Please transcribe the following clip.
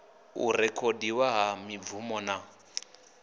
u rekhodiwa ha mibvumo na